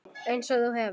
Einsog þú hefur.